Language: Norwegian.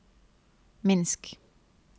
Minsk